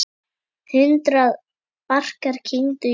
Hundrað barkar kyngdu í hljóði.